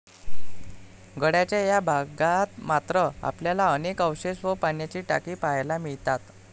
गडाच्या या भागात मात्र आपल्याला अनेक अवशेष व पाण्याची टाकी पाहायला मिळतात.